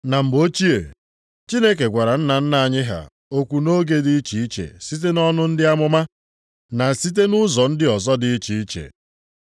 Na mgbe ochie, Chineke gwara nna nna anyị ha okwu nʼoge dị iche iche site nʼọnụ ndị amụma, na site nʼụzọ ndị ọzọ dị iche iche.